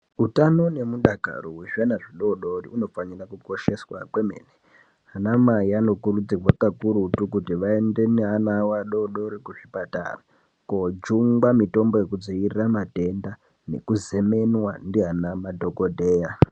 Utano nemudakaro hwezviana zvidodori hunofanira kukosheswa kwemene ana mai anokurudzirwa kakurutu kuti vaende neana ao adodori kuzvipatara kojungwa mitombo yekudzivirira matenda nekuzemenwa ndiana madhokodheya.